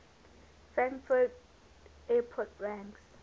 frankfurt airport ranks